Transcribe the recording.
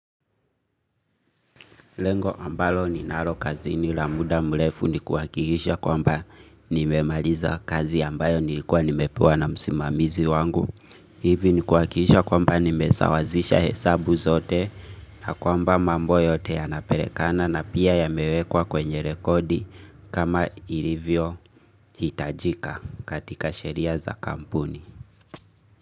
Lengo ambalo ni nalo kazi ni la muda mrefu ni kuhakikisha kwamba nimemaliza kazi ambayo nilikuwa nimepewa na msimamizi wangu. Hivi ni kuhakikisha kwamba nimesawazisha hesabu zote na kwamba mambo yote ya napelekana na pia ya mewekwa kwenye rekodi kama ilivyo hitajika katika sheria za kampuni.